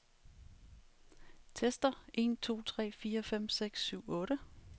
Tester en to tre fire fem seks syv otte.